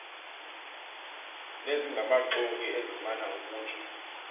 nezingamaxoki ezimana ukutsho